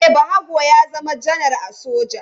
E, Bahago ya zama janar a soja.